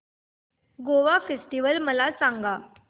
Goa festival मला सांग